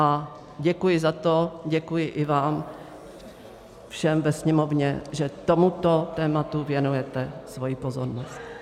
A děkuji za to, děkuji i vám všem ve Sněmovně, že tomuto tématu věnujete svoji pozornost.